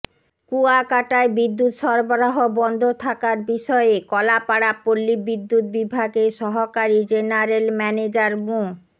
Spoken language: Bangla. কুয়াকাটায় বিদ্যুৎ সরবরাহ বন্ধ থাকার বিষয়ে কলাপাড়া পল্লীবিদ্যুৎ বিভাগের সহকারী জেনারেল ম্যানেজার মো